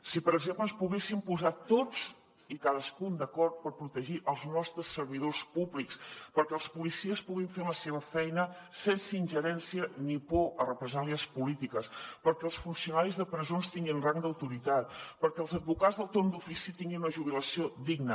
si per exemple ens poguéssim posar tots i cadascun d’acord per protegir els nostres servidors públics perquè els policies puguin fer la seva feina sense ingerència ni por a represàlies polítiques perquè els funcionaris de presons tinguin rang d’autoritat perquè els advocats del torn d’ofici tinguin una jubilació digna